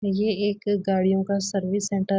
ये एक गाड़ियों का सर्विस सेंटर --